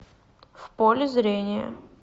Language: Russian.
в поле зрения